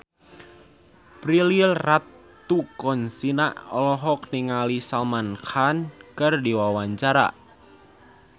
Prilly Latuconsina olohok ningali Salman Khan keur diwawancara